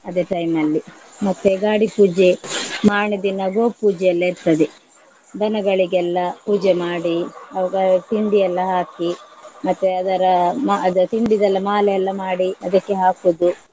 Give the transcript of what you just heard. ಅದೇ time ಅಲ್ಲಿ ಮತ್ತೆ ಗಾಡಿ ಪೂಜೆ ಮಾರನೆದಿನ ಗೋ ಪೂಜೆ ಎಲ್ಲ ಇರ್ತದೆ ದನಗಳಿಗೆಲ್ಲ ಪೂಜೆ ಮಾಡಿ ಅವುಗಳ್~ ತಿಂಡಿ ಎಲ್ಲ ಹಾಕಿ ಮತ್ತೆ ಅದರ ಮ~ ಅದು ತಿಂಡಿದೆಲ್ಲ ಮಾಲೆ ಎಲ್ಲ ಮಾಡಿ ಅದಕ್ಕೆ ಹಾಕುದು.